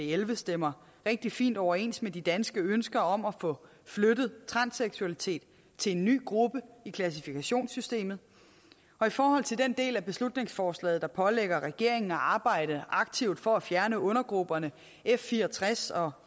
elleve stemmer rigtig fint overens med de danske ønsker om at få flyttet transseksualitet til en ny gruppe i klassifikationssystemet og i forhold til den del af beslutningsforslaget der pålægger regeringen at arbejde aktivt for at fjerne undergrupperne f64 og